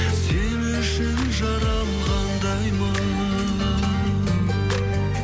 сен үшін жаралғандаймын